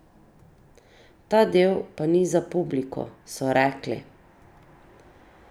Ta del pa ni za publiko, so rekli!